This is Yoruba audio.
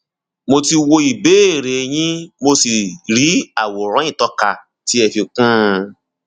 mo ti wo ìbéèrè yín mo sì rí àwòrán ìtọka tí ẹ fi kún un